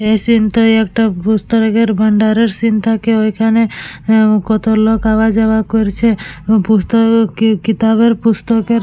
এই সিন্ টায় একটা বুক ষ্টল এর ভান্ডারের সিন্ থাকে ঐখানে উম কত লোক আওয়া যাওয়া করছে। পুস্তকে কিতাবের পুস্তকের--